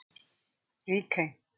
Ríkey